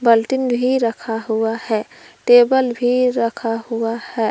वालटिन भी रखा हुआ है टेबल भी रखा हुआ है।